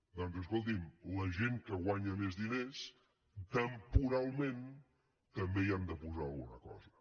doncs escolti’m la gent que guanya més diners temporalment també hi han de posar alguna cosa